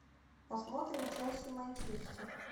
посмотрим челси манчестер